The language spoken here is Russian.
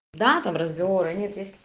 да там разговоры они то ес